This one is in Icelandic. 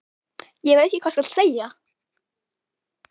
Ég veit ekki hvað skal segja.